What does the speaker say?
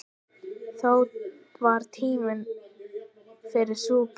Þó var tími fyrir súpu.